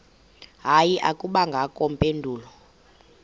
hayi akubangakho mpendulo